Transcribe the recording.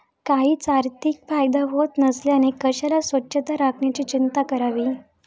काहीच आर्थिक फायदा होत नसल्याने कशाला स्वच्छता राखण्याची चिंता करावी?